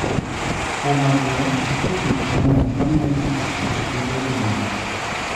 Kuom adier, nitie gik mang'eny mamiyo tij pur bedo gi nyak.